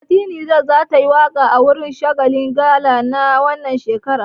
Fati Niger za tayi waƙa a wurin shagalin gala na wannan shekaran.